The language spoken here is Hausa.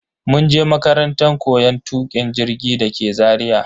mun je makarantan koyon tukin jirgi dake Zaria.